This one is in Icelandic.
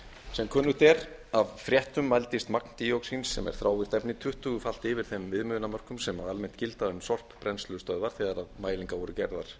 sem kunnugt er af fréttum mældist magn díoxín sem er þrávirkt efni tuttugu falið yfir þeim viðmiðunarmörkum á almennt gild aum sorpbrennslustöðvar þegar mælingar voru gerðar